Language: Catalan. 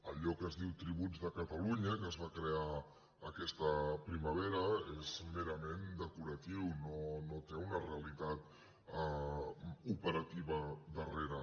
allò que es diu tributs de catalunya que es va crear aquesta primavera és merament decoratiu no té una realitat operativa darrere